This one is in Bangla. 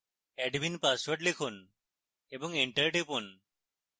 admin পাসওয়ার্ড লিখুন এবং enter টিপুন